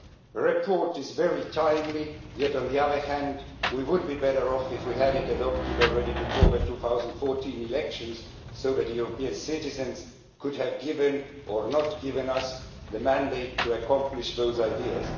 The report is very timely yet, on the other hand, we would be better off if we had adopted it before the 2014 elections so that European citizens could have given us, or not given us, a mandate to accomplish those ideas.